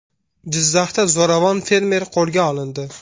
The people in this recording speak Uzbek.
Jizzaxda zo‘ravon fermer qo‘lga olindi.